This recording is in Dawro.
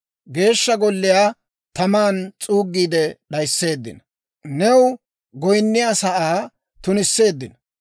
Geeshsha Golliyaa taman s'uuggiide d'ayisseeddino; new goyinniyaa sa'aa tunisseeddino.